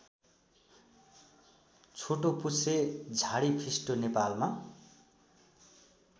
छोटोपुच्छ्रे झाडीफिस्टो नेपालमा